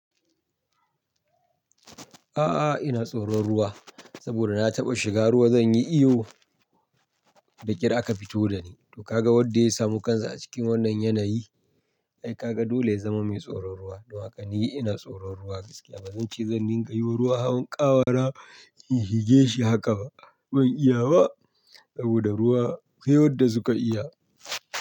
A'a, ina tsoron ruwa saboda na taɓa shiga ruwa zan yi iyo da ƙyar a ka fito da ni. To ka ga wadda ya samu kan sa a cikin wannan yanayi? Ai ka ga dole ya zama mai tsoron ruwa. To haka ni ina tsoron ruwa gaskiya. Ba zan ce zan ninga yiwo ruwa hawan ƙawara in shige shi haka ba. Ban iya ba saboda ruwa sai wadda su ka iya.